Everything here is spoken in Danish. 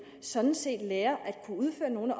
sådan set lærer at kunne udføre nogle af